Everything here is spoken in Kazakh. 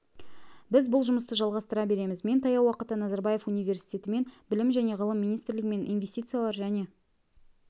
біз бұл жұмысты жалғастыра береміз мен таяу уақытта назарбаев университетімен білім және ғылым министрлігімен инвестициялар және